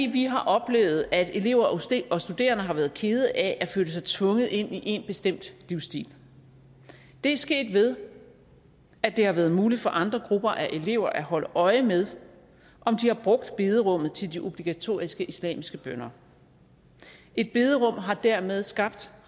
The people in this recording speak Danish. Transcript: vi har oplevet at elever og studerende har været kede af at føle sig tvunget ind i én bestemt livsstil det er sket ved at det har været muligt for andre grupper af elever at holde øje med om de har brugt bederummet til de obligatoriske islamiske bønner et bederum har dermed skabt